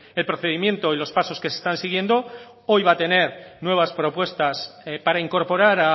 el procedimiento y los pasos que se están siguiendo hoy va a tener nuevas propuestas para incorporar